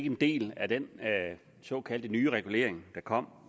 en del af den såkaldt nye regulering der kom og